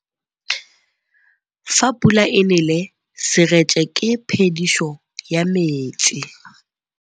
Fa pula e nelê serêtsê ke phêdisô ya metsi.